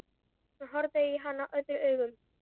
Hann horfði á hana öðrum augum.